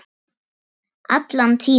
Allan tímann.